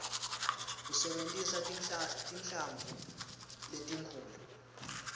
usebentisa tinhlamvu letinkhulu